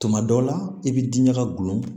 Tuma dɔw la i bɛ diɲaga gulon